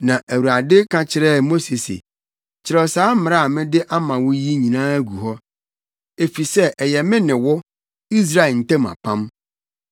Na Awurade ka kyerɛɛ Mose se, “Kyerɛw saa mmara a mede ama wo yi nyinaa gu hɔ, efisɛ ɛyɛ me ne wo, Israel ntam apam.”